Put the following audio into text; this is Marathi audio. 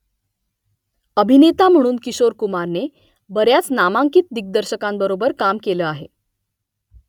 अभिनेता म्हणून किशोर कुमारने बऱ्याच नामांकित दिग्दर्शकांबरोबर काम केलं आहे